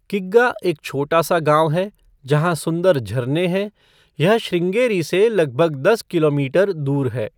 किग्गा एक छोटा सा गाँव है, जहाँ सुंदर झरने हैं, यह श्रृँगेरी से लगभग दस किलोमीटर दूर है।